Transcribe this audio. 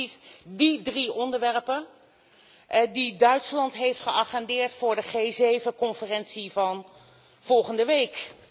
Het zijn precies die drie onderwerpen die Duitsland heeft geagendeerd voor de G7 conferentie van volgende week.